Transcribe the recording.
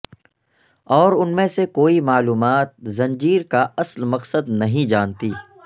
اور ان میں سے کوئی معلومات زنجیر کا اصل مقصد نہیں جانتی